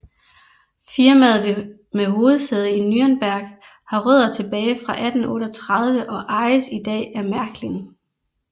Firmaet med hovedsæde i Nürnberg har rødder tilbage fra 1838 og ejes i dag af Märklin